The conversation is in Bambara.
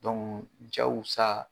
cɛw sa.